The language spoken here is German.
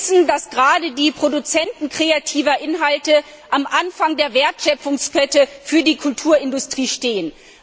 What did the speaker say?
Wir wissen, dass gerade die Produzenten kreativer Inhalte am Anfang der Wertschöpfungskette für die Kulturindustrie stehen.